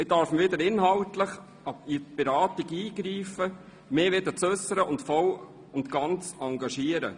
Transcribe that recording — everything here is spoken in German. Ich darf wieder inhaltlich in die Beratungen eingreifen, mich wieder äussern und voll und ganz engagieren.